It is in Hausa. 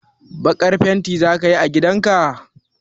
Baƙar fenti za ka yi a gidan ka?